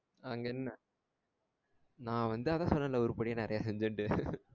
அங்கென்ன nan வந்து அதான் சொல்றேன்ல உருப்படியா நெறைய செஞ்சேன்ட்டு சொன்னன்ல